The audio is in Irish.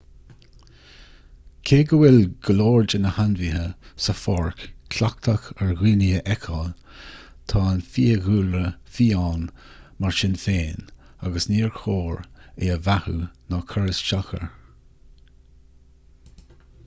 cé go bhfuil go leor de na hainmhithe sa pháirc cleachtach ar dhaoine a fheiceáil tá an fiadhúlra fiáin mar sin féin agus níor chóir é a bheathú ná cur isteach air